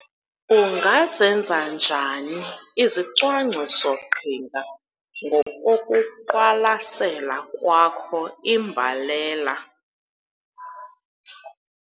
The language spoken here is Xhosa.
Ungazenza njani izicwangciso-qhinga ngokokuqwalasela kwakho imbalela?